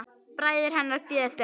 Bræður hennar bíða eftir henni.